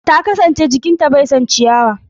Ta kasance jikin ta bai son ciyawar.